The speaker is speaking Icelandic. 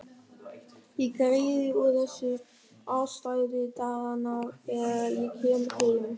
Ég greiði úr þessu afstæði daganna þegar ég kem heim.